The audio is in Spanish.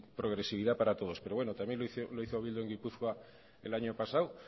progresividad para todos pero bueno también lo hizo bildu en gipuzkoa el año pasado